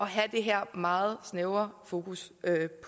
have det her meget snævre fokus